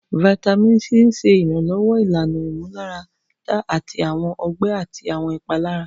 Vitamin C ṣe iranlọwọ ilana imularada ti awọn ọgbẹ ati awọn ipalara.